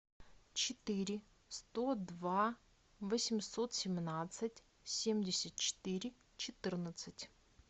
четыре сто два восемьсот семнадцать семьдесят четыре четырнадцать